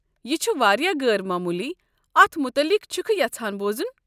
یہِ چھُ واریاہ غٲر معموٗلی، اتھ مُتلق چھُکھہٕ یژھان بوزُن؟